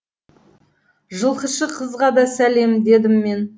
жылқышы қызға да сәлем дедім мен